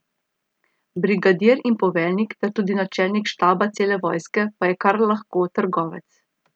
Brigadir in poveljnik ter tudi načelnik štaba cele vojske pa je kar lahko trgovec.